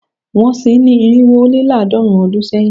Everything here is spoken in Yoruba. Wọ́n sin ín ní irinwo ó lé àádọ́rùn-ún ọdún sẹ́yìn